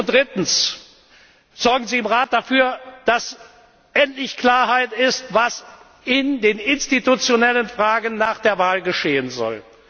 Drittens, sorgen Sie im Rat dafür, dass endlich Klarheit herrscht, was in den institutionellen Fragen nach der Wahl geschehen soll!